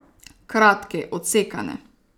Kratke, odsekane.